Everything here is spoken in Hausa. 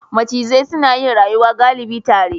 Macizai suna rayuwa galibi tare.